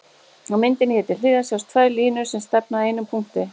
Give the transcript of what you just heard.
Á myndinni hér til hliðar sjást tvær línur sem stefna að einum punkti.